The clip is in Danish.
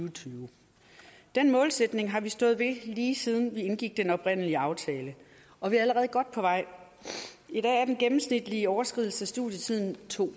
og tyve den målsætning har vi stået ved lige siden vi indgik den oprindelige aftale og vi er allerede godt på vej i dag er den gennemsnitlige overskridelse af studietiden to